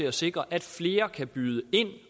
at sikre at flere kan byde ind